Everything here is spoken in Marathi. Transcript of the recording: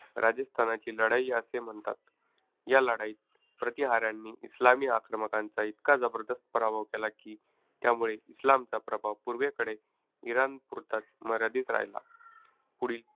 राजस्थानची लढाई असे म्हणतात. या लढाईत प्रतिहाऱ्यांनी इस्लामी आक्रमकांचा इतका जबरदस्त पराभव केला की, त्यामुळे इस्लामचा प्रभाव पूर्वेकडे इराणपुरताच मर्यादित राहिला. पुढील,